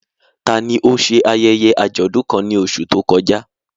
Tani ó ṣe ayẹyẹ àjọ̀dún kan ní oṣù tó kọjá?